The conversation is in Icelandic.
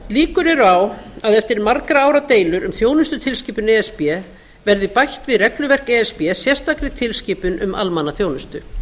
líkur eru á að eftir margra ára deilur um þjónustutilskipun e s b verði bætt við regluverk e s b sérstakri tilskipun um almannaþjónustu